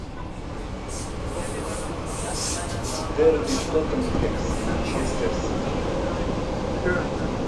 дерби тоттенхэм с манчестер сити